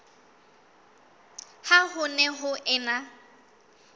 ha ho ne ho ena